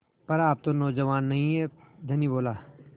पर आप तो नौजवान नहीं हैं धनी बोला